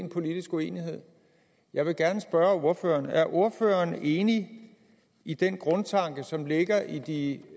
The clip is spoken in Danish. politisk uenighed jeg vil gerne spørge ordføreren er ordføreren enig i den grundtanke som ligger i